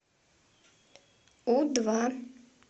у два